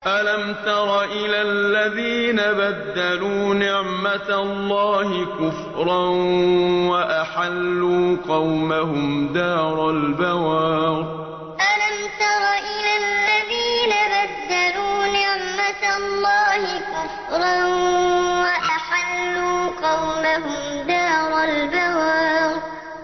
۞ أَلَمْ تَرَ إِلَى الَّذِينَ بَدَّلُوا نِعْمَتَ اللَّهِ كُفْرًا وَأَحَلُّوا قَوْمَهُمْ دَارَ الْبَوَارِ ۞ أَلَمْ تَرَ إِلَى الَّذِينَ بَدَّلُوا نِعْمَتَ اللَّهِ كُفْرًا وَأَحَلُّوا قَوْمَهُمْ دَارَ الْبَوَارِ